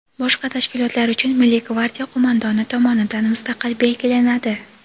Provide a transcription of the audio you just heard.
boshqa tashkilotlar uchun Milliy gvardiya qo‘mondoni tomonidan mustaqil belgilanadi.